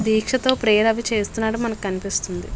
దీక్షతో ప్రేయర్ అవి చేస్తునట్టు కనిపిస్తుంది.